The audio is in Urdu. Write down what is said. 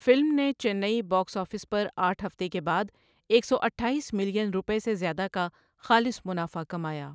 فلم نے چنئی باکس آفس پر آٹھ ہفتے کے بعد ایک سو اٹھائیس ملین روپے سے زیادہ کا خالص منافع کمایا۔